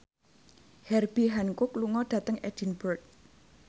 Herbie Hancock lunga dhateng Edinburgh